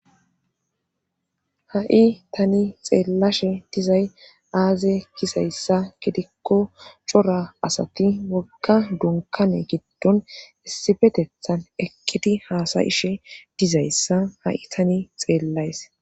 ha7i tani xeellashe dizay aazze gizayssa gidikko cora asati wogga dunkkane giddon issipetethan eqqidi haasayishe dizayssa ha7i tani xeellays.